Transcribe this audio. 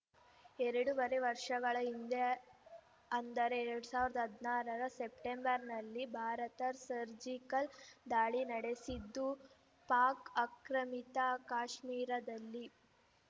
ಎರಡೂವರೆ ವರ್ಷಗಳ ಹಿಂದೆ ಅಂದರೆ ಎರಡ್ ಸಾವಿರದ ಹದನಾರರ ಸೆಪ್ಟೆಂಬರ್‌ನಲ್ಲಿ ಭಾರತ ಸರ್ಜಿಕಲ್‌ ದಾಳಿ ನಡೆಸಿದ್ದು ಪಾಕ್‌ ಆಕ್ರಮಿತ ಕಾಶ್ಮೀರದಲ್ಲಿ